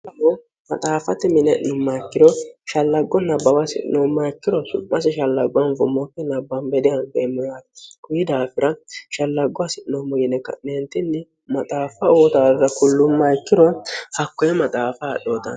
hao maxaaffati mine'numma ikkiro shallaggo nabbaawa hasi'noumma ikkiro su'masi shallaggo anfommootni nbbanbedia eemmiyaarti kuyi daafira shallaggo hasi'noommo yine ka'neentinni maxaaffa ootaarra kullumma yikkiro hakkoye maxaafa hadhooton